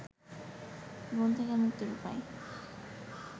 ব্রন থেকে মুক্তির উপায়